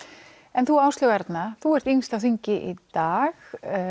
en þú Áslaug Arna þú ert yngst á þingi í dag